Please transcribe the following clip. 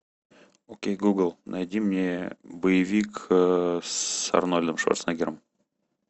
окей гугл найди мне боевик с арнольдом шварценеггером